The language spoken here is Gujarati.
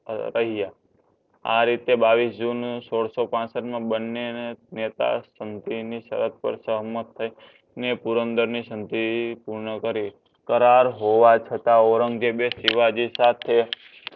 એ કઈ ગયા આ રીતે બાવીસ જૂન સોડસોપાસઠ મા બંનેને નેતા સમધી સરત પર ને પુરણધાર ની સમજી પૂર્ણ કરી. કરાર હોવા છતા ઔરંગઝેબ એ શિવજી સાથે